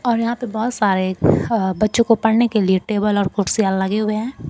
और यहां पे बहुत सारे बच्चों को पढ़ने के लिए टेबल और कुर्सियां लगे हुए हैं।